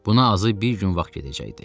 Buna azı bir gün vaxt gedəcəkdi.